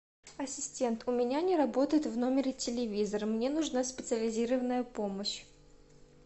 ассистент у меня не работает в номере телевизор мне нужна специализированная помощь